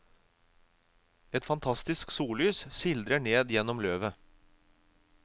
Et fantastisk sollys sildrer ned gjennom løvet.